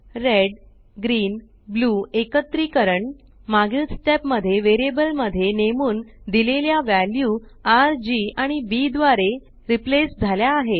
red green blue एकत्रीकरण मागील step मध्ये वेरियबल मध्ये नेमून दिलेल्या वॅल्यू RGआणि Bदवारे रीप्लेस झाल्या आहेत